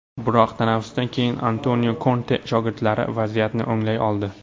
Biroq tanaffusdan keyin Antonio Konte shogirdlari vaziyatni o‘nglay oldi.